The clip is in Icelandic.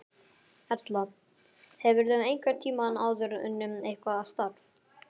Erla: Hefurðu einhvern tímann áður unnið eitthvað starf?